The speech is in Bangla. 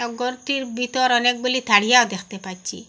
ঘরটির ভিতর অনেকগুলি থারিয়াও দেখতে পাচ্ছি।